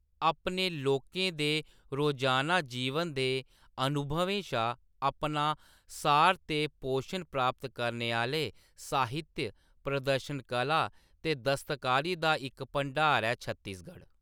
अपने लोकें दे रोज़ाना जीवन दे अनुभवें शा अपना सार ते पोशन प्राप्त करने आह्‌‌‌ले साहित्य, प्रदर्शन कला ते दस्तकारी दा इक भंडार ऐ छत्तीसगढ़।